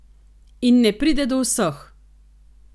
In ne pride do vseh!